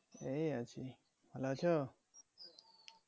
এই আছি ভালো আছো।